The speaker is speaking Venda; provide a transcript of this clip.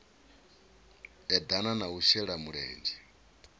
eḓana na u shela mulenzhe